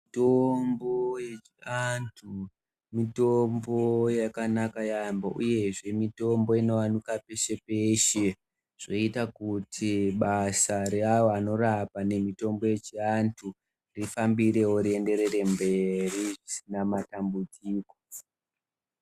Mitombo yechi antu, mitombo yakanaka yambo uyezve, mitombo inowanikwa peshe peshe. Zvoita kuti basa re ava vanorapa nemitombo yechi antu rifambirewo riyenderere mberi risina matambudziko.